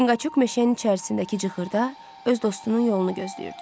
Çinqaçuk meşənin içərisindəki cığırda öz dostunun yolunu gözləyirdi.